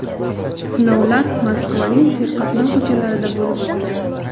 Sinovlar Moskvaning serqatnov ko‘chalarida bo‘lib o‘tgan.